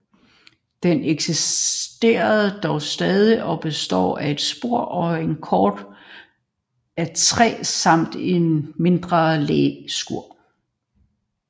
Den eksisterer dog stadig og består af et spor og en kort af træ samt et mindre læskur